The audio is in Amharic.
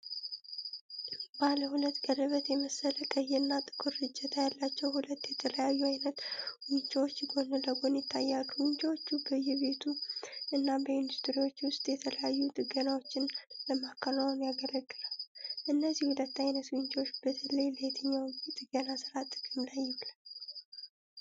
ባለ ሁለት ቀለበት የመሰለ ቀይና ጥቁር እጀታ ያላቸው ሁለት የተለያዩ አይነት ዊንችዎች ጎን ለጎን ይታያሉ። ዊንችዎቹ በየቤቱ እና በኢንዱስትሪዎች ውስጥ የተለያዩ ጥገናዎችን ለማከናወን ያገለግላሉ። እነዚህን ሁለት አይነት ዊንችዎች በተለይ ለየትኛው የጥገና ሥራ ጥቅም ላይ ይውላሉ?